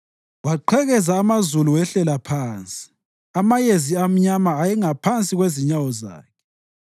Waqhekeza amazulu wehlela phansi; amayezi amnyama ayengaphansi kwezinyawo zakhe